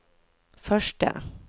første